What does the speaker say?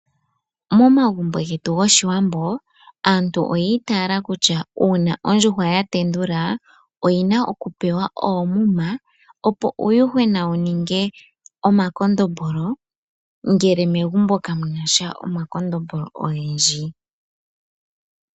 Momagumbo getu goshiwambo aantu oya itayela kutya uuna ondjuhwa yatendula, oyina okupewa oomuma opo uuyuhwena wuninge omakondombolo, ngele megumbo kamunasha omakondombolo ogendji.